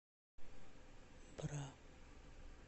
бра